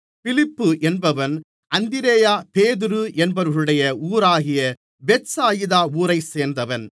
பிலிப்பு என்பவன் அந்திரேயா பேதுரு என்பவர்களுடைய ஊராகிய பெத்சாயிதா ஊரைச் சேர்ந்தவன்